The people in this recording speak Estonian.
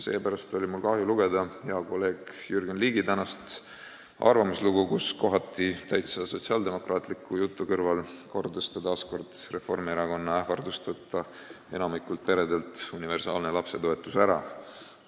Seepärast oli mul kahju lugeda hea kolleegi Jürgen Ligi tänast arvamuslugu, kus ta kohati täitsa sotsiaaldemokraatliku jutu kõrval kordas taas Reformierakonna ähvardust võtta enamikult peredelt universaalne lapsetoetus ära.